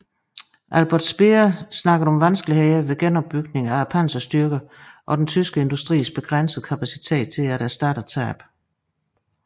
Albert Speer talte om vanskelighederne ved genopbygningen af panserstyrkerne og den tyske industris begrænsede kapacitet til at erstatte tabene